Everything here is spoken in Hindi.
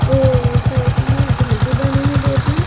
और साइड में घर भी बने है दो तीन।